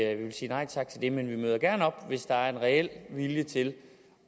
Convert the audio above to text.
at vi vil sige nej tak til det men vi møder gerne op hvis der er en reel vilje til